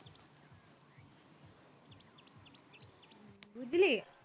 বুঝলি